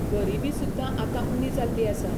गरिबी सुद्दां आतां उणी जाल्ली आसा.